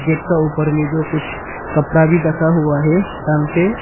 Gate का ऊपर में जो कुछ कपड़ा भी दखा हुआ है टांग के।